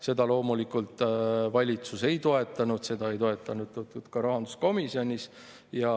Seda loomulikult valitsus ei toetanud, seda ei toetatud ka rahanduskomisjonis.